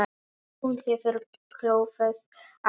Hún hefur klófest hann líka.